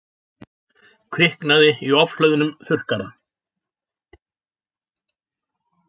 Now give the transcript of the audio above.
Kviknaði í ofhlöðnum þurrkara